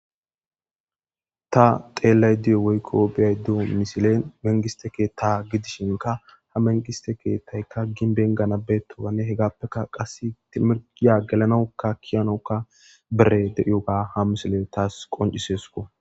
Ta xeellay diyo woykko biyaydu misile mengiste keetta gidishinka ha mengiste keettaykka ginbenganabbeetoane hegappeka qas timiriya gelanaukka kiyanoka bere de'ioga ha misile taas qoncisesuko.